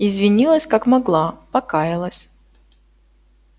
извинилась как могла покаялась